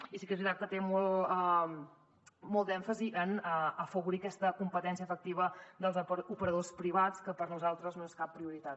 i sí que és veritat que té molt d’èmfasi en afavorir aquesta competència efectiva dels operadors privats que per nosaltres no és cap prioritat